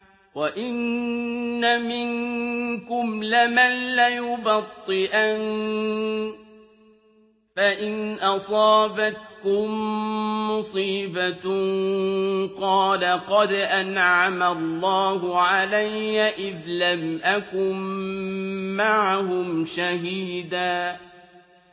وَإِنَّ مِنكُمْ لَمَن لَّيُبَطِّئَنَّ فَإِنْ أَصَابَتْكُم مُّصِيبَةٌ قَالَ قَدْ أَنْعَمَ اللَّهُ عَلَيَّ إِذْ لَمْ أَكُن مَّعَهُمْ شَهِيدًا